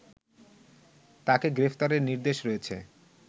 তাকে গ্রেফতারের নির্দেশ রয়েছে